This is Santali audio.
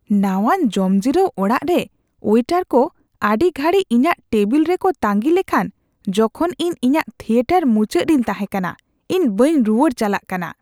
ᱱᱟᱣᱟᱱ ᱡᱚᱢᱡᱤᱨᱟᱹᱣ ᱚᱲᱟᱜ ᱨᱮ ᱳᱭᱮᱴᱟᱨ ᱠᱚ ᱟᱹᱰᱤ ᱜᱷᱟᱹᱲᱤᱡ ᱤᱧᱟᱹᱜ ᱴᱮᱵᱤᱞ ᱨᱮᱠᱚ ᱛᱟᱺᱜᱤ ᱞᱮᱠᱷᱟᱱ ᱡᱚᱠᱷᱚᱱ ᱤᱧ ᱤᱧᱟᱹᱜ ᱛᱷᱤᱭᱮᱴᱟᱨ ᱢᱩᱪᱟᱹᱫ ᱨᱤᱧ ᱛᱟᱦᱮᱸ ᱠᱟᱱᱟ ᱾ᱤᱧ ᱵᱟᱹᱧ ᱨᱩᱣᱟᱹᱲ ᱪᱟᱞᱟᱜ ᱠᱟᱱᱟ ᱾